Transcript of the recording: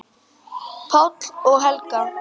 Páll og Helga.